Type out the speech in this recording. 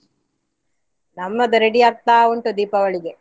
ನಮ್ಮದು ready ಆಗ್ತಾ ಉಂಟು ದೀಪಾವಳಿಗೆ.